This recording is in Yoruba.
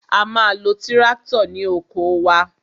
A ma lo tíráktọ̀ ní oko wa.